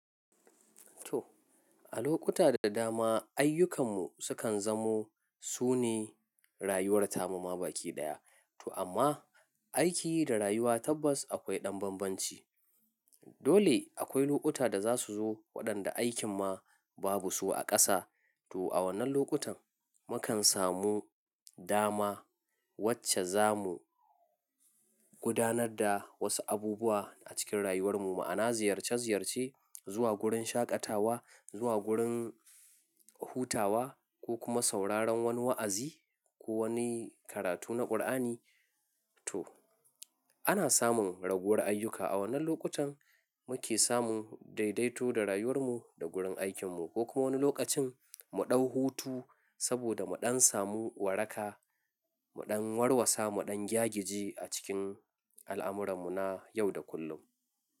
To, a lokuta da dama ayyukanmu sukan zamo sune rayuwar ta mamaki ɗaya. To amma aiki da rayuwa tabbas akwai ɗan bambanci. Dole akwai lokuta da za su zo waɗanda aikin ma babu su a ƙasa. To a wannan lokutan mukan samu dama wacce za mu gudanar da wasu abubuwa a cikin rayuwarmu. Ma'ana ziyarce ziyarce, zuwa wurin shaƙatawa, zuwa wurin hutawa ko kuma sauraron wani wa'azi ko wani karatu na Kur'ani. To, ana samun raguwar ayyuka. A wannan lokutan muke samun daidaito da rayuwarmu da gurin aikinmu ko kuma wani lokacin mu ɗau hutu saboda mu ɗan samu waraka, mu ɗan warwasa, mu ɗan gyagiji a cikin al'amurarmu na yau da kullum.